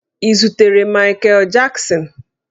Ị zutere Mikel Jaksin?